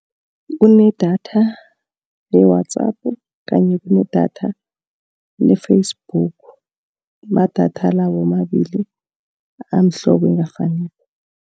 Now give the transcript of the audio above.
Kunedatha le-WhatsApp, kanye kunedatha le-Facebook. Amadatha la womabili amhlobo ongafaniko.